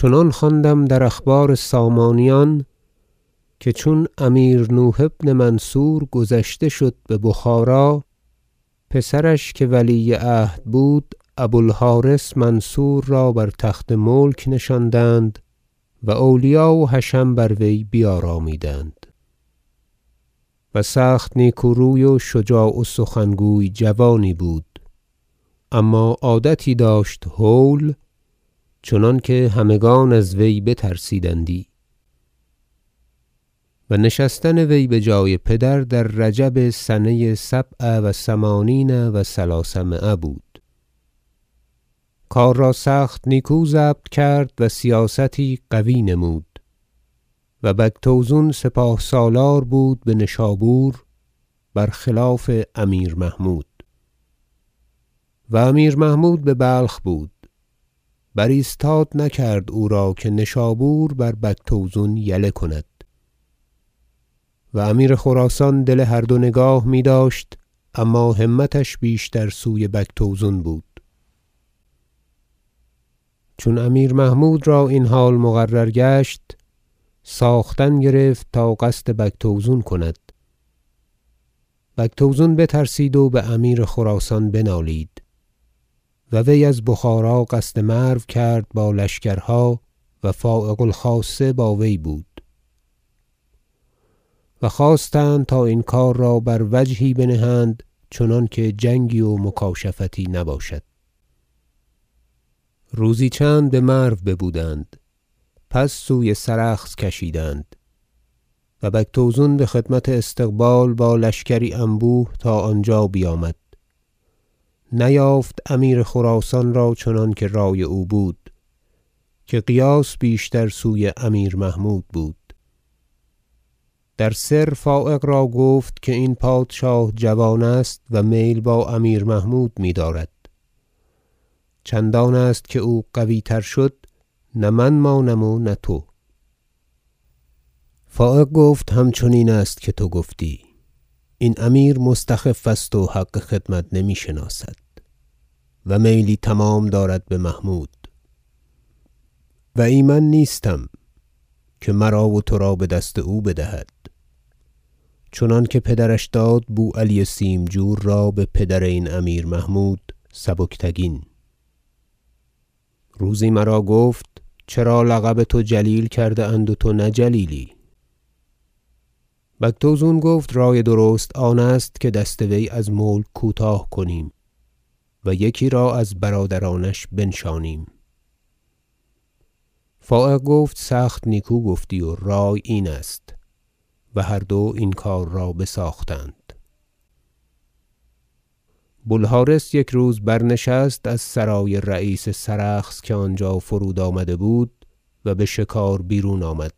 چنان خواندم در اخبار سامانیان که چون امیر نوح بن منصور گذشته شد ببخارا پسرش که ولی عهد بود ابو الحارث منصور را بر تخت ملک نشاندند و اولیا و حشم بر وی بیارامیدند و سخت نیکو روی و شجاع و سخنگوی جوانی بود اما عادتی داشت هول چنانکه همگان از وی بترسیدندی و نشستن وی بجای پدر در رجب سنه سبع و ثمانین و ثلثمایه بود کار را سخت نیکو ضبط کرد و سیاستی قوی نمود و بگتوزون سپاه سالار بود بنشابور و برخلاف امیر محمود و امیر محمود ببلخ بود برایستاد نکرد او را که نشابور بربگتوزون یله کند و امیر خراسان دل هر دو نگاه میداشت اما همتش بیشتر سوی بگتوزون بود چون امیر محمود را این حال مقرر گشت ساختن گرفت تا قصد بگتوزون کند بگتوزون بترسید و بامیر خراسان بنالید و وی از بخارا قصد مرو کرد با لشکرها و فایق الخاصه با وی بود و خواستند تا این کار را بر وجهی بنهند چنانکه جنگی و مکاشفتی نباشد روزی چند بمرو ببودند پس سوی سرخس کشیدند و بگتوزون بخدمت استقبال با لشکری انبوه تا آنجا بیامد نیافت امیر خراسان را چنانکه رای او بود که قیاس بیشتر سوی امیر محمود بود در سر فایق را گفت که این پادشاه جوان است و میل با امیر محمود میدارد چندان است که او قوی تر شد نه من مانم و نه تو فایق گفت همچنین است که تو گفتی این امیر مستخف است و حق خدمت نمیشناسد و میلی تمام دارد بمحمود و ایمن نیستم که مرا و ترا بدست او بدهد چنانکه پدرش داد بو علی سیمجور را بپدر این امیر محمود سبکتگین روزی مرا گفت چرا لقب ترا جلیل کرده اند و تو نه جلیلی بگتوزون گفت رای درست آنست که دست وی از ملک کوتاه کنیم و یکی را از برادرانش بنشانیم فایق گفت سخت نیکو گفتی و رای این است و هر دو این کار را بساختند بو الحرث یکروز برنشست از سرای رییس سرخس که آنجا فرود آمده بود و بشکار بیرون آمد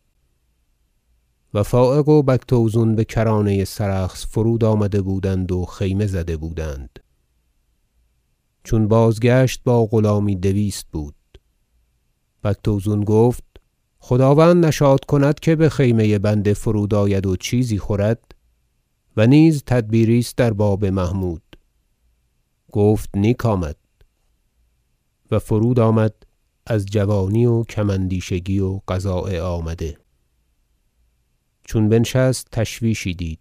و فایق و بگتوزون بکرانه سرخس فرود آمده بودند و خیمه زده بودند چون بازگشت با غلامی دویست بود بگتوزون گفت خداوند نشاط کند که بخیمه بنده فرود آید و چیزی خورد و نیز تدبیری است در باب محمود گفت نیک آمد و فرود آمد از جوانی و کم اندیشگی و قضاء آمده چون بنشست تشویشی دید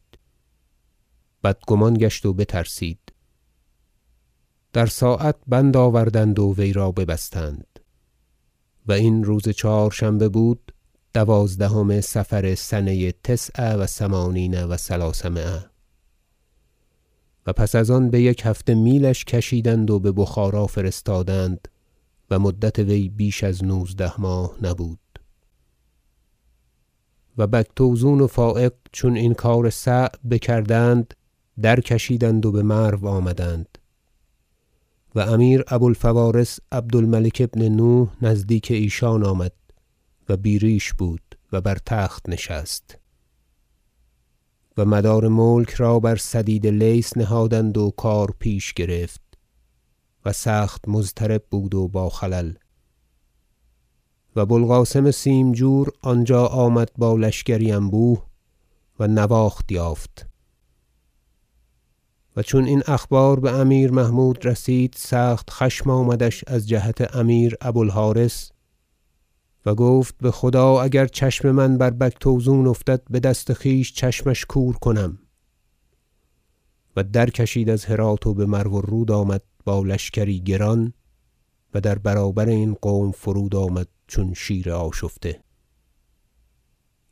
بدگمان گشت و بترسید در ساعت بند آوردند و وی را ببستند و این روز چهارشنبه بود دوازدهم صفر سنه تسع و ثمانین و ثلثمایه و پس از آن بیک هفته میلش کشیدند و ببخارا فرستادند و مدت وی بیش از نوزده ماه نبود و بگتوزون و فایق چون این کار صعب بکردند درکشیدند و بمرو آمدند و امیر ابو الفوارس عبد الملک بن نوح نزدیک ایشان آمد و بی ریش بود و بر تخت نشست و مدار ملک را برسدید لیث نهادند و کار پیش گرفت و سخت مضطرب بود و با خلل و بو القاسم سیمجور آنجا آمد با لشکری انبوه و نواخت یافت و چون این اخبار بامیر محمود رسید سخت خشم آمدش از جهت امیر ابو الحارث و گفت بخدا اگر چشم من بر بگتوزون افتد بدست خویش چشمش کور کنم و در کشید از هرات و بمرو الرود آمد با لشکری گران و در برابر این قوم فرود آمد چون شیر آشفته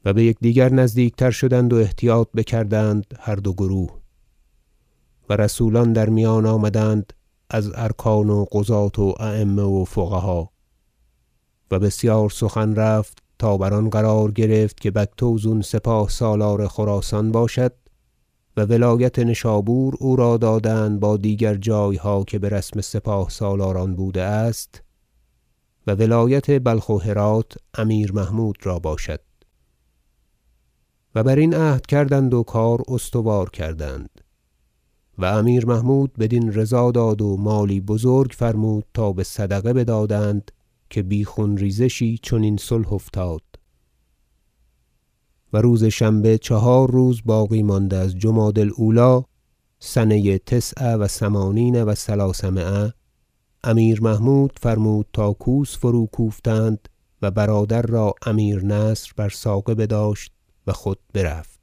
و بیکدیگر نزدیکتر شدند و احتیاط بکردند هر دو گروه و رسولان در میان آمدند از ارکان و قضاة و ایمه و فقها و بسیار سخن رفت تا بر آن قرار گرفت که بگتوزون سپاه سالار خراسان باشد و ولایت نشابور او را دادند با دیگر جایها که برسم سپاه سالاران بوده است و ولایت بلخ و هرات امیر محمود را باشد و برین عهد کردند و کار استوار کردند و امیر محمود بدین رضا داد و مالی بزرگ فرمود تا بصدقه بدادند که بی خون ریزشی چنین صلح افتاد و روز شنبه چهار روز باقی مانده از جمادی الأولی سنه تسع و ثمانین و ثلثمایه امیر محمود فرمود تا کوس فروکوفتند و برادر را امیر نصر بر ساقه بداشت و خود برفت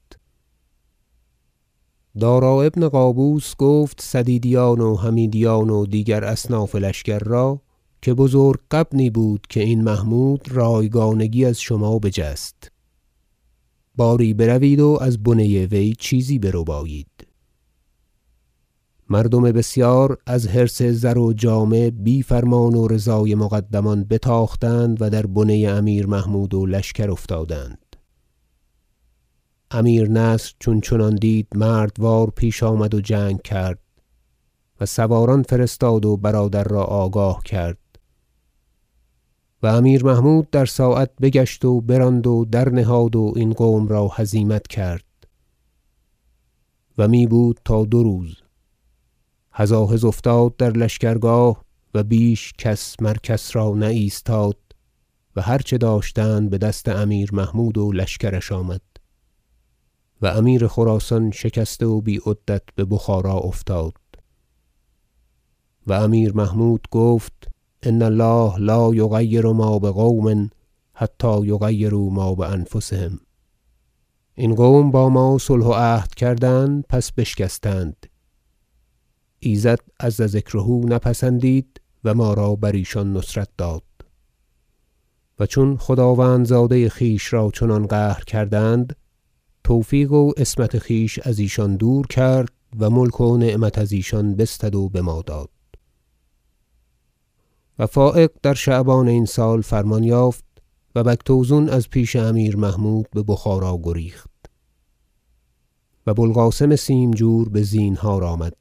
دارا بن قابوس گفت سدیدیان و حمیدیان و دیگر اصناف لشکر را که بزرگ غبنی بود که این محمود را یگانگی از شما بجست باری بروید و از بنه وی چیزی بربایید مردم بسیار از حرص زر و جامه بی فرمان و رضای مقدمان بتاختند و در بنه امیر محمود و لشکر افتادند امیر نصر چون چنان دید مردوار پیش آمد و جنگ کرد و سواران فرستاد و برادر را آگاه کرد و امیر محمود در ساعت بگشت و براند و در نهاد و این قوم را هزیمت کرد و می بود تا دو روز هزاهز افتاد در لشکرگاه و بیش کس مر کس را نه ایستاد و هر چه داشتند بدست امیر محمود و لشکرش آمد و امیر خراسان شکسته و بی عدت ببخارا افتاد و امیر محمود گفت إن الله لا یغیر ما- بقوم حتی یغیروا ما بأنفسهم این قوم با ما صلح و عهد کردند پس بشکستند ایزد عز ذکره نپسندید و ما را بر ایشان نصرت داد و چون خداوندزاده خویش را چنان قهر کردند توفیق و عصمت خویش از ایشان دور کرد و ملک و نعمت از ایشان بستد و بما داد و فایق در شعبان این سال فرمان یافت و بگتوزون از پیش امیر محمود ببخارا گریخت و بو القاسم سیمجور بزینهار آمد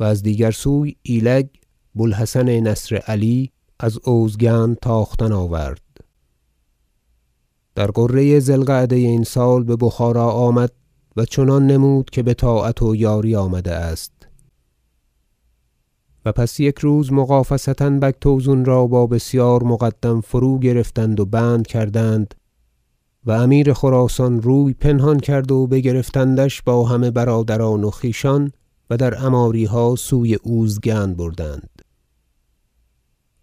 و از دیگر سوی ایلگ بو الحسن نصر- علی از اوزگند تاختن آورد در غره ذی القعده این سال ببخارا آمد و چنان نمود که بطاعت و یاری آمده است و پس یکروز مغافصه بگتوزون را با بسیار مقدم فروگرفتند و بند کردند و امیر خراسان روی پنهان کرد و بگرفتندش با همه برادران و خویشان و در عماریها سوی اوزگند بردند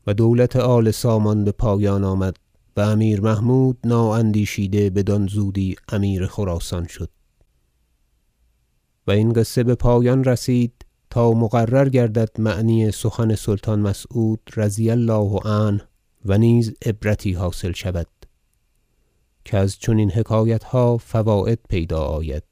و دولت آل سامان بپایان آمد و امیر محمود نااندیشیده بدان زودی امیر خراسان شد و این قصه بپایان رسید تا مقرر گردد معنی سخن سلطان مسعود رضی الله عنه و نیز عبرتی حاصل شود کز چنین حکایتها فواید پیدا آید